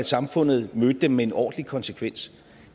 samfundet mødte dem med en ordentlig konsekvens